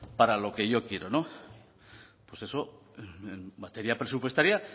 para lo que yo quiero no pues eso en materia presupuestaria